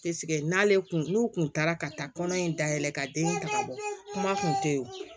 n'ale kun n'u kun taara ka taa kɔnɔ in dayɛlɛn ka den taga bɔ kuma kun tɛ ye